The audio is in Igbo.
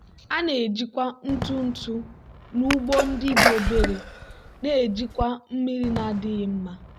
a na-ejikwa ntụ ntụ n'ugbo ndị dị obere na-ejikwa mmiri na-adịghị mma.